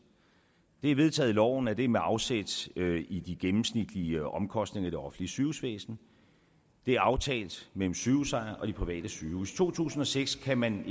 det er vedtaget i loven at det er med afsæt i de gennemsnitlige omkostninger i det offentlige sygehusvæsen det er aftalt mellem sygehusejerne og de private sygehuse i to tusind og seks kan man